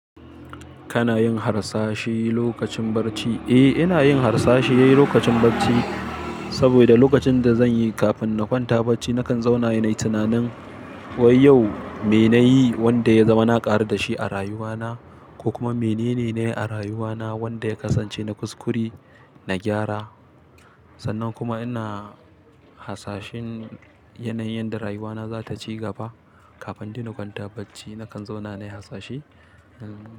Kana yin harsashe lokacin bacci? Eh, ina yin harsashe lokacin bacci. Saboda lokacin da zan yi kafin na kwanta bacci, na kan zauna nayi tunanin wai yau me nayi wanda ya zama na ƙaru da shi a rayuwana, ko kuma mene ne nayi a rayuwana wanda ya kasance na kuskure na gyara. Sannan kuma ina hasashin yanayin da rayuwana za ta ci gaba. Kafin dai na kwanta bacci na kan zauna nayi hasashe.